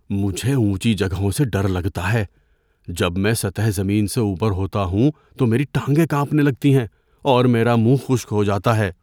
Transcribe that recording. مجھے اونچی جگہوں سے ڈر لگتا ہے۔ جب میں سطح زمین سے اوپر ہوتا ہوں تو میری ٹانگیں کانپنے لگتی ہیں اور میرا منہ خشک ہو جاتا ہے۔